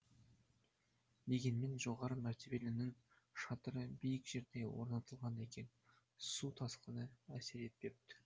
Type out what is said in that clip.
дегенмен жоғары мәртебелінің шатыры биік жерде орнатылған екен су тасқыны әсер етпепті